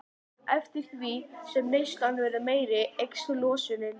Eftir því sem neyslan verður meiri eykst losunin.